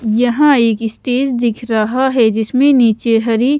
यहां एक स्टेज दिख रहा है जिसमें नीचे हरी--